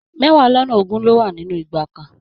Mẹwa lọnà ogún ló wà nínú igba kan.